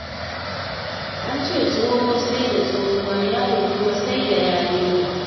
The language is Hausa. An ce tsoho sai dai tsohuwa, yaro kuwa sai da yarinya.